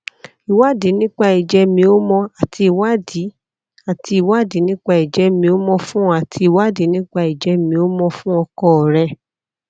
ìwádìí nípa ìjẹ́mi ómọ́ ti ìwádìí àti ìwádìí nípa ìjẹ́mi ómọ́ fún ọ àti ìwádìí nípa ìjẹ́mi ómọ́ fún ọkọ rẹ